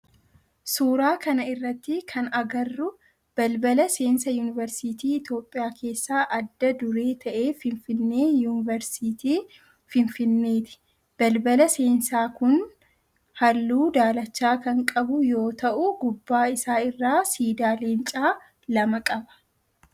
Suuraa kana irratti kan agarru balbala seensaa yuuniveersiitii Itiyoophiyaa keessaa adda duree ta'e finfinnee yuuniveersiitii finfinneeti. Balballi seensaa kun halluu daalacha kan qabu yoo ta'u gubbaa isaa irraa siidaa leencaa lama qaba.